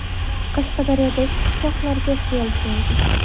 Qashqadaryodagi qishloqlarga sel keldi .